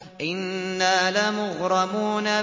إِنَّا لَمُغْرَمُونَ